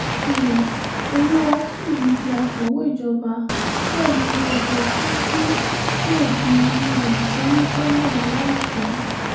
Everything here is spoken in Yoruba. um olùwàtúyí di akọ̀wé ìjọba bẹ́ẹ̀ ni ọ̀tẹ̀tùbí yóò di um kọmíṣánná láìpẹ́